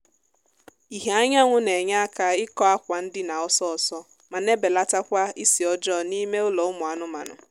ìhè anyanwụ na-enye aka ịkọ akwa ndina ọsọọsọ ma na-ebelatakwa ísì ọjọọ n'ime ụlọ ụmụ anụmaanụ